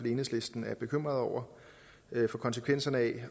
i enhedslisten er bekymrede over konsekvenserne af